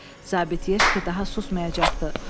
Zabit Yeşke daha susmayacaqdı.